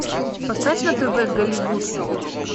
поставь на тв голливуд